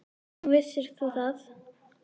Nú, vissir þú það?